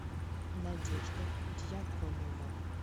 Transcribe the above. надежда дьяконова